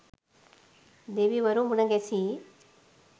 දෙවිවරු මුණ ගැසී